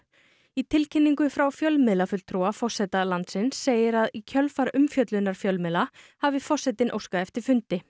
í tilkynningu frá fjölmiðlafulltrúa forseta landsins segir að í kjölfar umfjöllunar fjölmiðla hafi forsetinn óskað eftir fundi